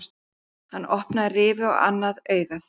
Hann opnaði rifu á annað augað.